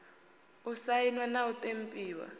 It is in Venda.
u sainwa na u ṱempiwa